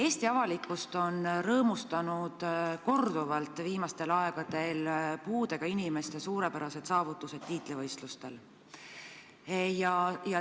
Eesti avalikkust on viimasel ajal korduvalt rõõmustanud puudega inimeste suurepärased saavutused tiitlivõistlustel.